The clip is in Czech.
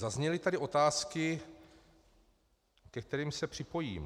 Zazněly tady otázky, ke kterým se připojím.